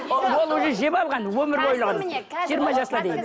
ол уже жеп алған өмірбойлығын жиырма жасына дейін